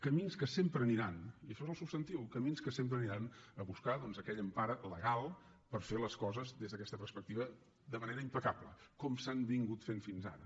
camins que sempre aniran i això és el substantiu a buscar aquella empara legal per fer les coses des d’aquesta perspectiva de manera impecable com s’han fet fins ara